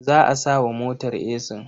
Za a sa wa motar esin.